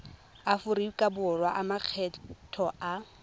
aforika borwa a makgetho a